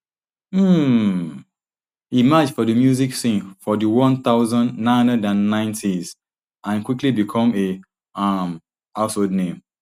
um e emerge for di music scene for di one thousand, nine hundred and ninetys and quickly become a um household name